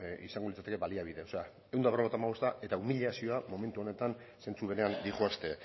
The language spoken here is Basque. izango litzateke baliabide ehun eta berrogeita hamabosta eta umilazioa momentu honetan zentzu berean doazte